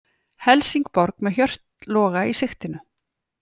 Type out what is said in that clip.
Helsingborg með Hjört Loga í sigtinu